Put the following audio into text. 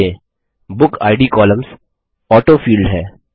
ध्यान दें booked columns autofilled है